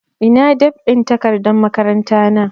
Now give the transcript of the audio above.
Ina dab'in takardar makaranta na